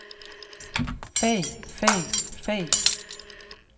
fag fag fag